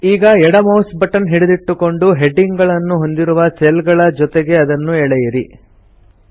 ಈಗ ಎಡ mouse button ಹಿಡಿದಿಟ್ಟುಕೊಂಡು ಹೆಡ್ಡಿಂಗ್ ಗಳನ್ನು ಹೊಂದಿರುವ ಸೆಲ್ಸ್ ಗಳ ಜೊತೆಗೆ ಅದನ್ನು ಎಳೆಯಿರಿ ಡ್ರ್ಯಾಗ್